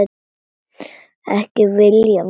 Ekki viljað meira.